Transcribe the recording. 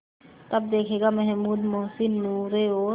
तब देखेगा महमूद मोहसिन नूरे और